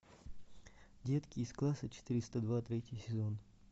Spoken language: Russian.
детки из класса четыреста два третий сезон